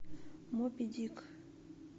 моби дик